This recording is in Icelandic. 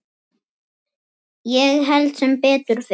Ég held sem betur fer.